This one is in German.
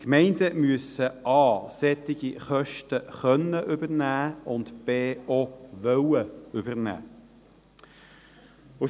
Gemeinden müssen A solche Kosten übernehmen können und B auch übernehmen wollen.